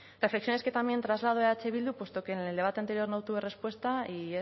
reflexiones que también traslado a eh bildu puesto que en el debate anterior no tuve respuesta y